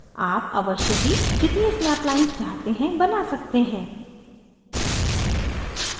आप अवश्य ही जितनी snap lines चाहते हैं बना सकते हैं